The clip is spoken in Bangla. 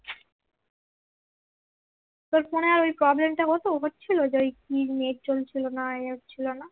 তোর ফোন আর ওই problem টা হতো হচ্ছিলো ওই যে কি নেট চলছিল না হচ্ছিলোনা